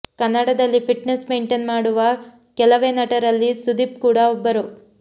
ಕನ್ನಡದಲ್ಲಿ fitness maintain ಮಾಡುವ ಕೆಲವೇ ನಟರಲ್ಲಿ ಸುದೀಪ್ ಕೂಡಾ ಒಬ್ಬರು